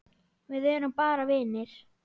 Við erum bara vinir.